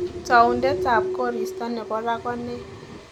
Taundetab koristob nebo raa ko ne